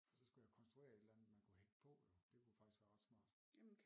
For så skulle jeg konstruere et eller andet man kunne hægte på jo det kunne faktisk være ret smart